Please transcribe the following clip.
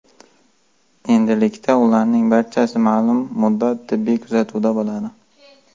Endilikda ularning barchasi ma’lum muddat tibbiy kuzatuvda bo‘ladi.